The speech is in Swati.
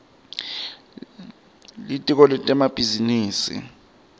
litiko lemabhizinisi